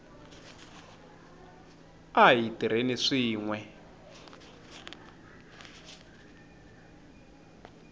a hi tirheni swin we